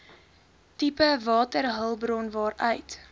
tipe waterhulpbron waaruit